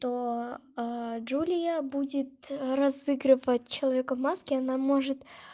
то джулия будет разыгрывать человека в маске она может